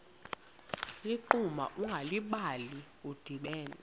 ligquma ungalibali udibene